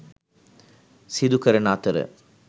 සිදු කරන අතර